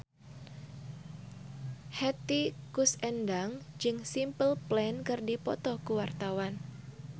Hetty Koes Endang jeung Simple Plan keur dipoto ku wartawan